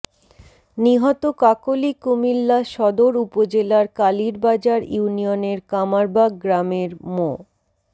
নিহত কাকলী কুমিল্লা সদর উপজেলার কালিরবাজার ইউনিয়নের কামারবাগ গ্রামের মো